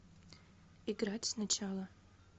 играть сначала